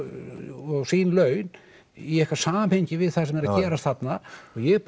og sín laun í eitthvað samhengi við það sem er að gerast þarna og ég